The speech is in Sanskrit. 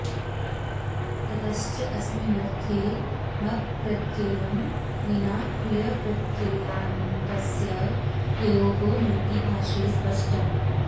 ततश्च अस्मिन्नर्थे मप्प्रत्ययं विना क्रियप्रत्ययान्तस्य प्रयोगो नेति भाष्ये स्पष्टम्